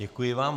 Děkuji vám.